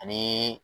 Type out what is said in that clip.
Ani